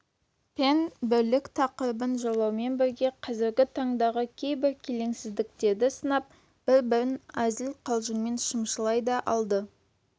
пен бірлік тақырыбын жырлаумен бірге қазіргі таңдағы кейбір келеңсіздіктерді сынап бір-бірін әзіл-қалжыңмен шымшылай да алды